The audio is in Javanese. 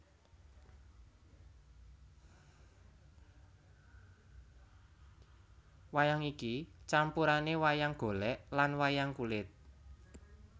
Wayang iki campurane wayang golek lan wayang kulit